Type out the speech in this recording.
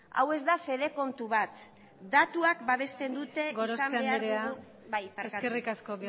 hau ez da fede kontu bat datuak babesten dute izan behar dugun gorospe andrea eskerrik asko